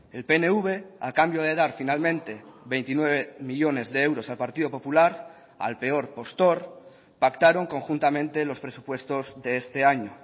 el pnv a cambio de dar finalmente veintinueve millónes de euros al partido popular al peor postor pactaron conjuntamente los presupuestos de este año